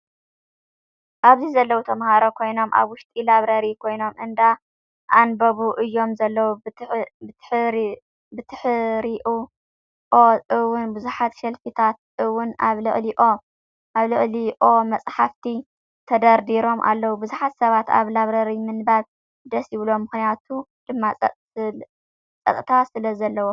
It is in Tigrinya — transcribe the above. ኣብዚ ዘለው ተማሃሮ ኮይኖም ኣብ ውሽጢ ላብረሪ ኮይኖም እንዳ-ኣንበቡ እዮም ዘለው። ብትሕሪኦ እውን ብዙሓት ሸልፊታት እውን ኣብ ልዕሊኦ መፅሓፍቲ ተደርዲሮም ኣለው። ብዙሕ ሰብ ኣብ ላብረሪ ምንባብ ደስ ይብሎ ምክንያቱ ድማ ፀጥታ ስለዘለዎ።